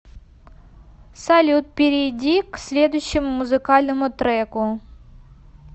салют перейди к следующему музыкальному треку